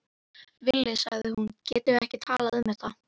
Villi, sagði hún, getum við ekki talað um þetta?